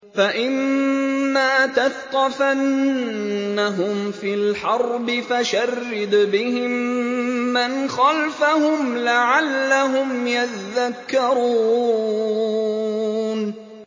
فَإِمَّا تَثْقَفَنَّهُمْ فِي الْحَرْبِ فَشَرِّدْ بِهِم مَّنْ خَلْفَهُمْ لَعَلَّهُمْ يَذَّكَّرُونَ